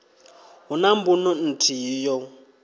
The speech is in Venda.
hu na mbuno nthihi yo